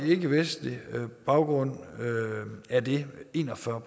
ikkevestlig baggrund er det en og fyrre